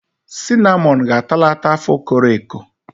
Sinamọn ga-atalata afọ koro eko.